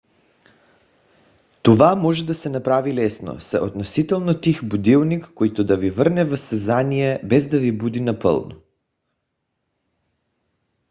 това може да се направи лесно с относително тих будилник който да ви върне в съзнание без да ви буди напълно